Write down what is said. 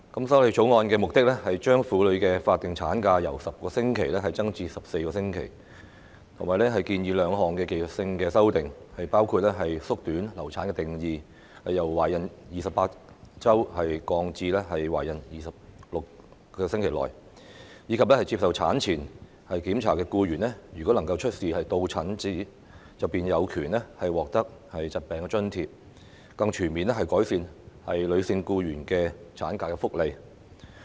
《條例草案》的目的是把婦女的法定產假由10個星期增至14個星期；建議兩項技術性修訂，包括縮短流產的定義，由"懷孕28個星期內"降至"懷孕24個星期內"；及接受產前檢查的僱員如能出示到診證明書，便有權獲得疾病津貼，更全面改善女性僱員的產假福利。